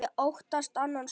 Ég óttast annan söng.